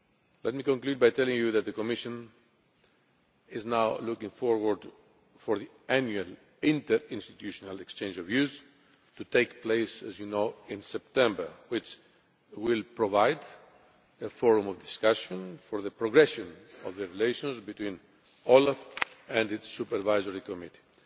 Let me tell you that the Commission is now looking forward to the annual Interinstitutional Exchange of Views that will take place, as you know, in September and which will provide a forum for discussion of the progression of relations between OLAF and its supervisory committee.